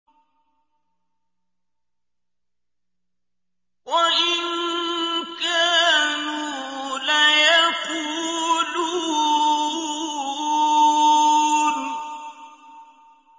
وَإِن كَانُوا لَيَقُولُونَ